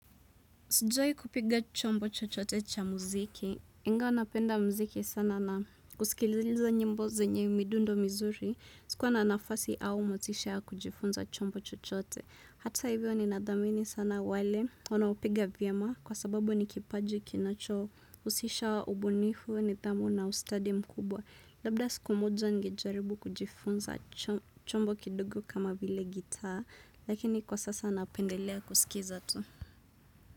Sijui kupiga chombo chochote cha muziki. Ingawa napenda muziki sana na kusikiliza nyimbo zenye midundo mizuri. Sikuwa na nafasi au motisha kujifunza chombo chochote. Hata hivyo ni nadhamini sana wale. Wanaopiga vyema kwa sababu ni kipaji kinacho husisha wa ubunifu nidhamu na ustadi mkubwa. Labda siku moja ningejaribu kujifunza chombo kidogo kama vile gitaa. Lakini kwa sasa napendelea kusikiza tu.